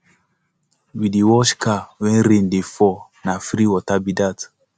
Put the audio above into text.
we dey wash car wen rain dey fall na free water be dat